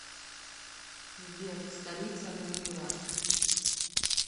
сбер столица гондурас